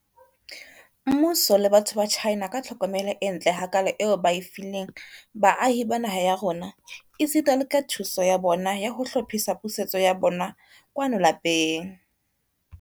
Mmuso le batho ba China ka tlhokomelo e ntle hakaalo eo ba e fileng baahi ba naha ya rona, esita le ka thuso ya bona ya ho hlophisa pusetso ya bona kwano lapeng.